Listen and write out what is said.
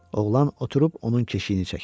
Oğlan oturub onun keşiyini çəkirdi.